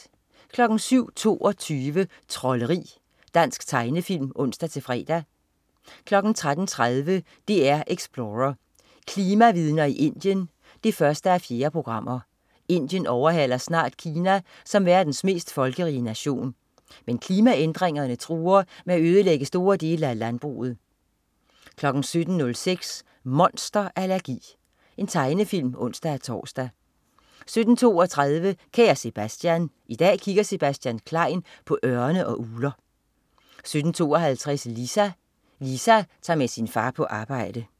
07.22 Trolderi. Dansk tegnefilm (ons-fre) 13.30 DR Explorer: Klimavidner i Indien 1:4. Indien overhaler snart Kina som verdens mest folkerige nation. Men klimaændringer truer med at ødelægge store dele af landbruget 17.06 Monster allergi. Tegnefilm (ons-tors) 17.32 Kære Sebastian. I dag kigger Sebastian Klein på ørne og ugler 17.52 Lisa. Lisa tager med sin far på arbejde